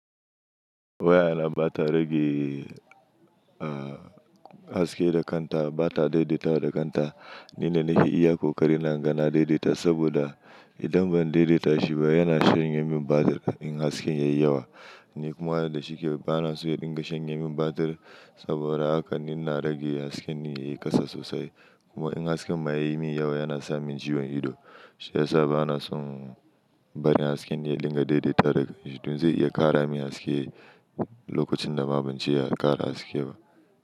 Wayana ba ta rage, haske da kanta, ba ta daidaitawa da kanta. Ni ne nake iya ƙoƙarina in ga na daidaita saboda idan ban daidaita shi ba yana shanye min batir in hasken yayi yawa. Ni kuma wanda shi ke ba na son ya dinga shanye min batir saboda haka ni na rage hasken yayi ƙasa sosai. Kuma in hasken ma yayi min yawa yana sa min ciwon ido. Shi ya sa ba na son bari hasken ya dinga daidaita da gudu. Zai iya ƙara min haske lokacin da ma ban ce ya ƙara haske ba.